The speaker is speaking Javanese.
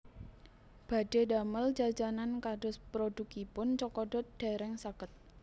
Badhe ndamel jajanan kados produkipun Cokodot dereng saged